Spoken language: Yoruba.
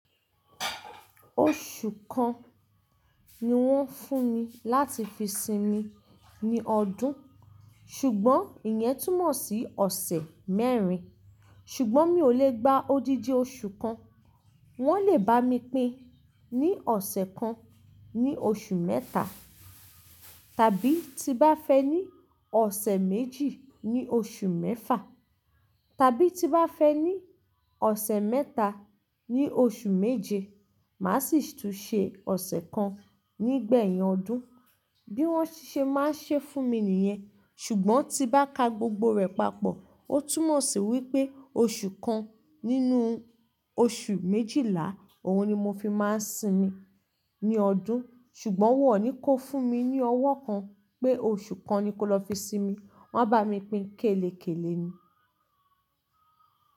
Oṣù kan ni wọ́n fún mi láti fi sinmi ní ọdún, ṣùgbọ́n ìyẹn túmọ̀ sí ọ̀sẹ̀ mẹ́rin. Ṣùgbọ́n mi ò lè gba odidi oṣù kan, wọ́n lè bá mi pín ní ọ̀sẹ̀ kan ní oṣù mẹ́ta, tàbí ti bá fẹ ní ọ̀sẹ̀ méjì ní oṣù mẹ́fa, tàbí ti bá fẹ ní ọ̀sẹ̀ mẹ́ta ní oṣù méje, màá sì tún ṣe ọ̀sẹ̀ kan nígbẹ̀yìn ọdún. Bí wọ́n ṣe máa ń ṣe é fún mi nìyẹn, ṣùgbọ́n ti bá ka gbogbo rẹ̀ papọ̀, ó túnmọ̀ sí wípé oṣù kan nínú oṣù méjìlá, òhun ni mo fi máa ń sinmi ní ọdún. Ṣùgbọ́n wọn ò ní ko fún mi ní ọwọ́ kan pé oṣù kan ni ko lọ fi sinmi. Wọ́n á bá mi pin kélekèle ni.